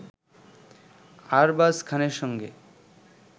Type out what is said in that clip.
আরবাজ খানের সঙ্গে